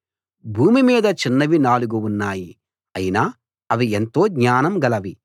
భూమి మీద చిన్నవి నాలుగు ఉన్నాయి అయినా అవి ఎంతో జ్ఞానం గలవి